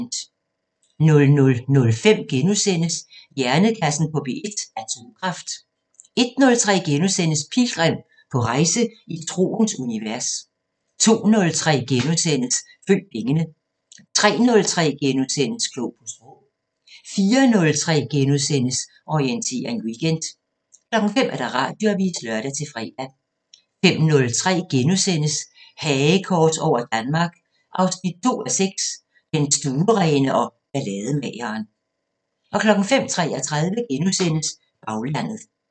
00:05: Hjernekassen på P1: Atomkraft * 01:03: Pilgrim – på rejse i troens univers * 02:03: Følg pengene * 03:03: Klog på Sprog * 04:03: Orientering Weekend * 05:00: Radioavisen (lør-fre) 05:03: Hagekors over Danmark 2:6 – Den stuerene og ballademageren * 05:33: Baglandet *